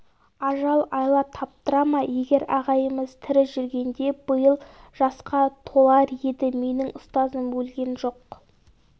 ажал айла таптыра ма егер ағайымыз тірі жүргенде биыл жасқа толар еді менің ұстазым өлген жоқ